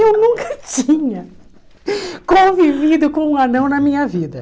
Eu nunca tinha convivido com um anão na minha vida.